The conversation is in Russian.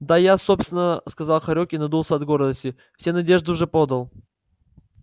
да я собственно сказал хорёк и надулся от гордости все надежды уже подал